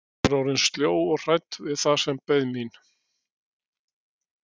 Ég var orðin sljó og hrædd við það sem beið mín.